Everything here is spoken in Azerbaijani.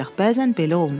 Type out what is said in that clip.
Ancaq bəzən belə olmur.